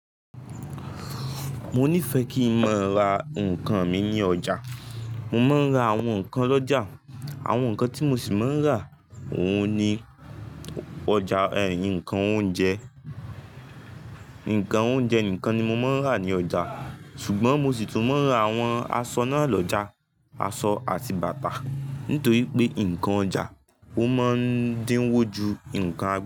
Mo nífẹ̀ẹ́ kí n máa ra nǹkan mi ní ọjà. Mo máa ń ra àwọn nǹkan lọ́jà. Àwọn nǹkan tí mo sì máa ń rà óun ni ọjà, ẹ̀ ńkan oúnjẹ, nǹkan oúnjẹ nìkan ni mo máa ń rà ní ọjà. Ṣùgbọ́n mo sì tún máa ń ra àwọn aṣọ náà lọ́jà, aṣọ àti bàtà. Nítorí pé nǹkan ọjà ó máa ń dín wó ju nǹkan.